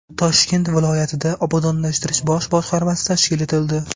Toshkent viloyatida Obodonlashtirish bosh boshqarmasi tashkil etildi.